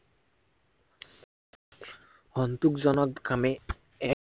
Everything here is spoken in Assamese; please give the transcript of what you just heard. এক সন্তোষজনক আমি